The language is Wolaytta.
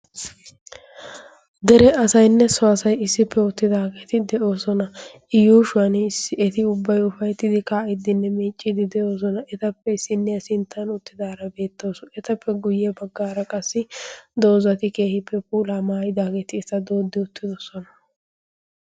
dere asaynne suwaasay issippe oottidaageeti de'oosona i yuushuwan issi eti ubbay ufayttidi kaa'iddinne miicciiddi de'oosona etappe isinniyaa sinttan uttidaara beettoosu etappe guyye baggaara qassi doozati keehiippe puulaa maayidaageeti eta dooddi uttidosona